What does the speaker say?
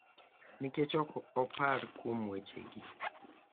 Nikech ok opar kuom wechegi,